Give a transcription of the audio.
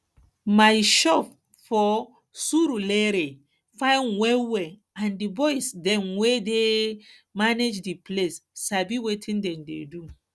my shop for surulere fine wellwell and di boys dem wey dey manage de place sabi wetin dem dey do